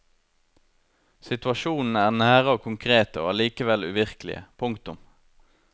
Situasjonene er nære og konkrete og allikevel uvirkelige. punktum